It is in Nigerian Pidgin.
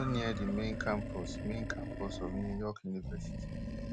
e also near di main campus main campus of new york university